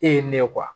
E ye ne ye